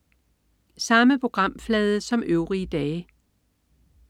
Samme programflade som øvrige dage